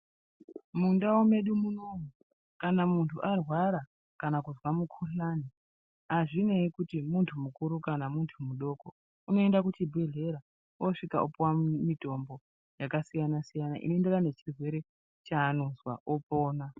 Mundau medu munomu, kana muntu arwara, kana kuzwa mukhuhlani, azvineyi kuti muntu mukuru kana muntu mudoko, unoenda kuchibhedhlera, osvika opiwa mumitombo yakasiyana-siyana, inoenderana nechirwere cheanozwa, opona.